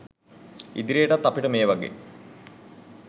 ඉදිරියටත් අපිට මේ වගේ